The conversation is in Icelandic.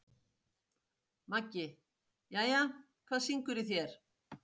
Maggi: Jæja, hvað syngur í þér?